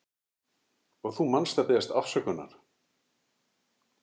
Og þú manst að biðjast afsökunar.